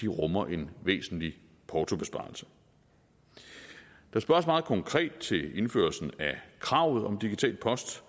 rummer en væsentlig portobesparelse der spørges meget konkret til indførelsen af kravet om digital post